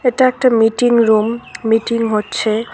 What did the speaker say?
এটা একটা meeting room meeting হচ্ছে।